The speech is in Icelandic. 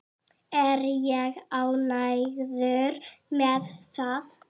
Er ég ánægður með það?